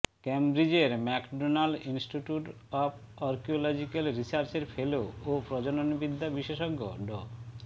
ক্যামব্রিজের McDonald Institute of Archaeological রিসার্চের fellow ও প্রজননবিদ্যা বিশেষজ্ঞ ড